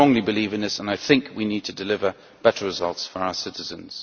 I strongly believe in this, and I think we need to deliver better results for our citizens.